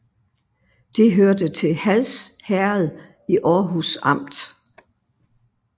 Det hørte til Hads Herred i Aarhus Amt